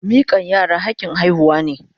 Mikan yara hakin haihuwa ne.